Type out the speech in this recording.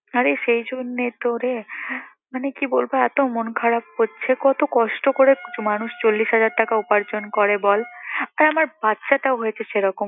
আরে সেই জন্যেই তো রে। মানে কি বলবো এত মন খারাপ করছে কত কষ্ট করে মানুষ চল্লিশ হাজার টাকা উপার্জন করে বল। তা আমার বাচ্চাটাও হয়েছে সেইরকম।